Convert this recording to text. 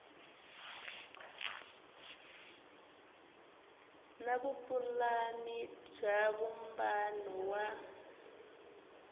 na vupulani bya vumbano wa